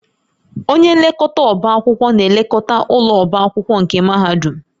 Onye nlekọta ọbá akwụkwọ na-elekọta ụlọ ọbá akwụkwọ nke mahadum